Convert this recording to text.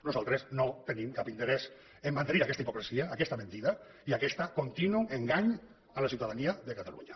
nosaltres no tenim cap interès a mantenir aquesta hipocresia aquesta mentida i aquest continu engany a la ciutadania de catalunya